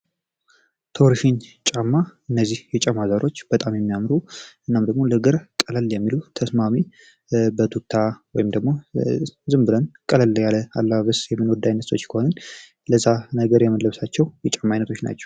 ቶርሽን ጫማ እነዚህ ጫማዎች በጣም የሚያምሩ እንደዚሁም ደግሞ ለእግር ተስማሚ ወይም ደግሞ ዝም ብለን ቀለል ያለ አለባበስ ለብሰን የምንለብሳቸዉ ጫማ አይነቶች ናቸው።